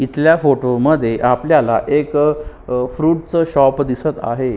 इथल्या फोटो मध्ये आपल्याला एक फ्रूट च शॉप दिसत आहे.